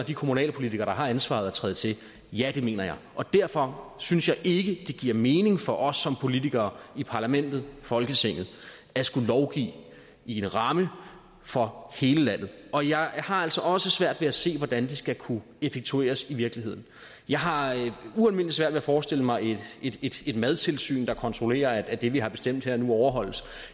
de kommunalpolitikere der har ansvaret at træde til ja det mener jeg og derfor synes jeg ikke det giver mening for os som politikere i parlamentet folketinget at skulle lovgive i en ramme for hele landet og jeg har altså også svært ved at se hvordan det skal kunne effektueres i virkeligheden jeg har ualmindelig svært ved at forestille mig et madtilsyn der kontrollerer at det vi har bestemt her nu overholdes